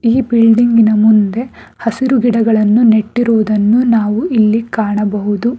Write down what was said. ಈ ಬಿಲ್ಡಿಂಗಿನ ಮುಂದೆ ಹಸಿರು ಗಿಡಗಳನ್ನು ನೆಟ್ಟಿರುವುದನ್ನು ನಾವು ಇಲ್ಲಿ ಕಾಣಬಹುದು.